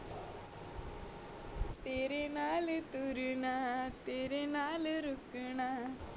ਤੇਰੇ ਨਾਲ ਤੁਰਨਾ ਤੇਰੇ ਨਾਲ ਰੁਕਣਾ